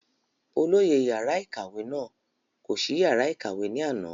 olóyè yàrá ìkàwé náà kò sí yàrá ìkàwé ní àná